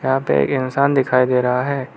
यहां पे एक इंसान दिखाई दे रहा है।